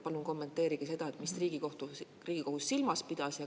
Palun kommenteerige seda, mida Riigikohus silmas pidas.